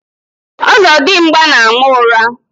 Ọzọdimgba na-ama ụra.